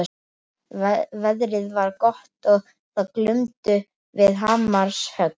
Veðrið var gott og það glumdu við hamarshögg.